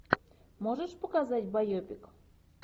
можешь показать байопик